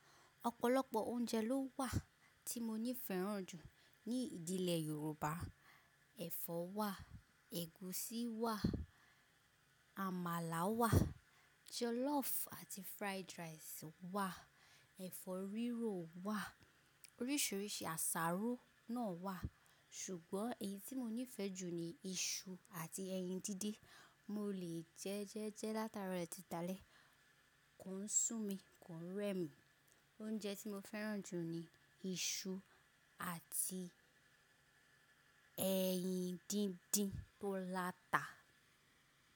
Ọ̀pọ̀lọpọ̀ oúnjẹ ló wà tí mo ní fẹ́ràn jù ní ìdílé Yorùbá. Ẹ̀fọ́ wà, ẹ̀gúsí wà, àmàlà wà, jọlọ́ọ̀fù àti fried rice wà, ẹ̀fọ́ rírò wà, oríṣiríṣi àsáró náà wà. Ṣùgbọ́n èyí tí mo nífẹ̀ẹ́ jù ni iṣu àti ẹyin díndín. Mo lè jẹ ẹ jẹ ẹ́ látaro titi dáálẹ́, kò ń sú mi, kò ń rẹ mí. Oúnjẹ tí mo fẹ́ràn jù ni iṣu àti ẹyin díndín tó láta.